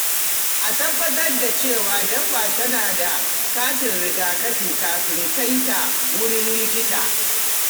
A tabbatar da cewa dabba tana da katin rigakafi kafin kai ta wurin likita.